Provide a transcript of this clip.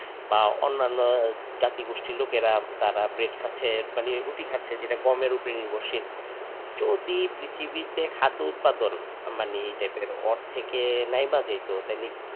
বা অন্যানো জাতিগোষ্ঠীর লোকেরা তারা bread খাচ্ছে মানে রুটি কাচ্ছে যেটা গমের উপর নির্ভরশীল যদি পৃথিবীতে খাদ্যে উৎপাদন মানে এই type এর অর্ধেকের নাই বা দিতো তাইলে.